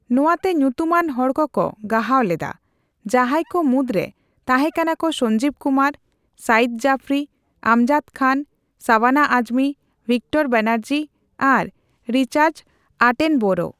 ᱱᱚᱣᱟᱛᱮ ᱧᱩᱛᱩᱢᱟᱱ ᱦᱚᱲ ᱠᱚᱠᱚ ᱜᱟᱦᱟᱣ ᱞᱮᱫᱟ, ᱡᱟᱸᱦᱟᱭ ᱠᱚ ᱢᱩᱫᱨᱮ ᱛᱟᱸᱦᱮ ᱠᱟᱱᱟ ᱠᱚ ᱥᱚᱧᱡᱤᱵ ᱠᱩᱢᱟᱨ, ᱥᱟᱭᱤᱫ ᱡᱟᱯᱷᱨᱤ, ᱟᱢᱡᱟᱫ ᱠᱷᱟᱱ, ᱥᱟᱵᱟᱱᱟ ᱟᱡᱢᱤ, ᱵᱷᱤᱠᱴᱚᱨ ᱵᱮᱱᱟᱨᱡᱤ ᱟᱨ ᱨᱤᱪᱟᱨᱰ ᱟᱴᱮᱱᱵᱚᱨᱳ ᱾